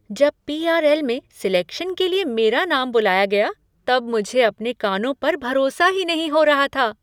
जब पी.आर.एल. में सेलेक्शन के लिए मेरा नाम बुलाया गया तब मुझे अपने कानों पर भरोसा ही नहीं हो रहा था!